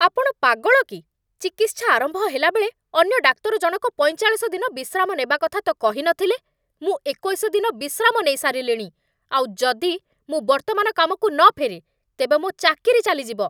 ଆପଣ ପାଗଳ କି? ଚିକିତ୍ସା ଆରମ୍ଭ ହେଲା ବେଳେ, ଅନ୍ୟ ଡାକ୍ତରଜଣକ ପଇଁଚାଳିଶ ଦିନ ବିଶ୍ରାମ ନେବା କଥା ତ କହିନଥିଲେ! ମୁଁ ଏକୋଇଶ ଦିନ ବିଶ୍ରାମ ନେଇସାରିଲିଣି, ଆଉ ଯଦି ମୁଁ ବର୍ତ୍ତମାନ କାମକୁ ନ ଫେରେ ତେବେ ମୋ ଚାକିରି ଚାଲିଯିବ।